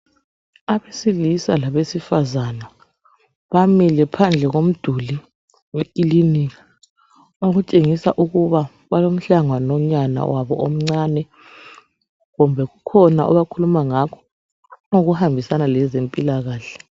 Abesilisa labesifazana bamile phandle komduli wekilinika, okutshengisa ukuba balomhlangano nyana wabo omncane kumbe kukhona abakhuluma ngakho okuhambisana lezempilakahle.